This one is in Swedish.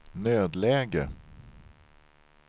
nödläge